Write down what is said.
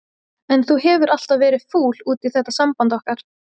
En þú hefur alltaf verið fúll út í þetta samband okkar.